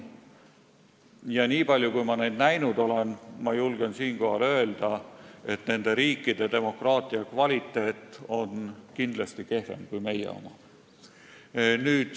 Ja niipalju, kui ma neid näinud olen, julgen siinkohal öelda, on nende riikide demokraatia kvaliteet kindlasti kehvem kui meie oma.